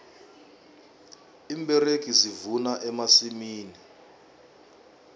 iimberegi zivuna emasimini